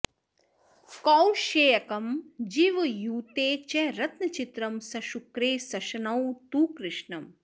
कौशेयकं जीवयुते च रत्नचित्रं सशुक्रे सशनौ तु कृष्णं